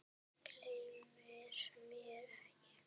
Gleymir mér ekki.